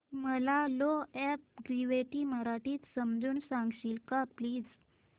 मला law of gravity मराठीत समजून सांगशील का प्लीज